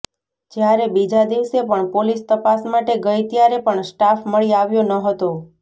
જ્યારે બીજા દિવસે પણ પોલીસ તપાસ માટે ગઈ ત્યારે પણ સ્ટાફ મળી આવ્યો ન હતો